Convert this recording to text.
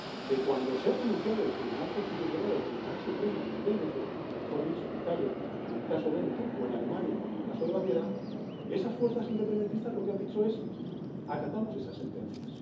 Que cuando se ha pronunciado el Tribunal Constitucional o el Tribunal Supremo en el Véneto, mejor dicho, en Italia con el caso Véneto o en Alemania con el caso de Baviera, esas fuerzas independentistas lo que han dicho es acatamos esas sentencias.